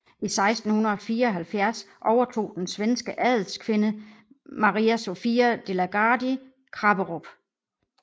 I 1674 overtog den svenske adelskvinde Maria Sofia de la Gardie Krapperup